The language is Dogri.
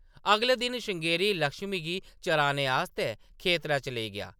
अगले दिन, श्रृंगेरी लक्ष्मी गी चराने आस्तै खेतरै च लेई गेआ ।